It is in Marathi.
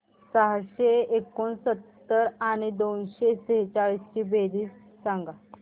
सहाशे एकोणसत्तर आणि दोनशे सेहचाळीस ची बेरीज सांगा बरं